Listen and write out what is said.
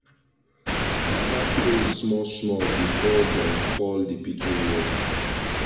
papa pray small small before dem call d pikin name